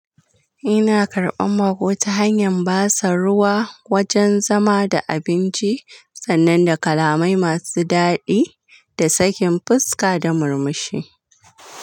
Ina karɓan bako ta hanyar basu ruwa, wajen zama da abinci, sannan da kalamai masu daɗi da sakin fuska da murmushi.